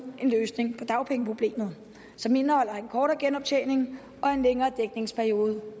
en løsning på dagpengeproblemet som indeholder en kortere genoptjening og en længere dækningsperiode